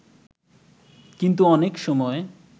কিন্তু অনেক সময়